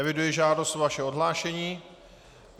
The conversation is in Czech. Eviduji žádost o vaše odhlášení.